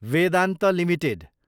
Vedanta Ltd